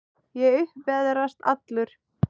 Ég upp veðrast allur.